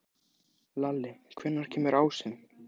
Lalli, hvenær kemur ásinn?